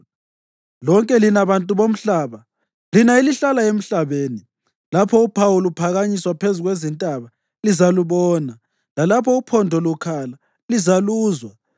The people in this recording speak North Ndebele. Lonke lina bantu bomhlaba, lina elihlala emhlabeni, lapho uphawu luphakanyiswa phezu kwezintaba lizalubona, lalapho uphondo lukhala lizaluzwa.